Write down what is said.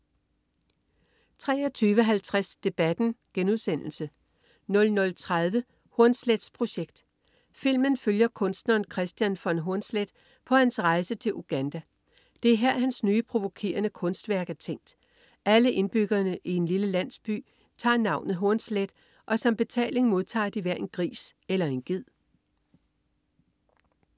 23.50 Debatten* 00.30 Hornsleths Projekt. Filmen følger kunstneren Kristian von Hornsleth på hans rejse til Uganda. Det er her, hans nye provokerende kunstværk er tænkt. Alle indbyggerne i en lille landsby tager navnet "Hornsleth", og som betaling modtager de hver en gris eller en ged